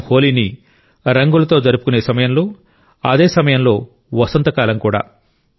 మనం హోలీని రంగులతో జరుపుకునే సమయంలో అదే సమయంలో వసంతకాలం కూడా